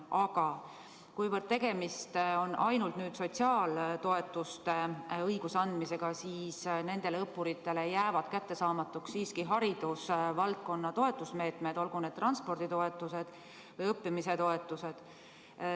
Aga kuivõrd tegemist on ainult sotsiaaltoetuste õiguse andmisega, siis jäävad nendele õppuritele siiski kättesaamatuks haridusvaldkonna toetusmeetmed, olgu need transporditoetused või õppimise toetused.